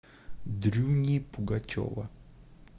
дрюни пугачева